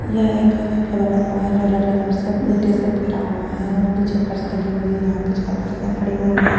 यह एक से बना हुआ है जो रेड कलर से ईटे से पटा हुआ है और नीचे फर्स लगी हुई यहां पे छाल कुर्सियां पड़ी हुई हैं।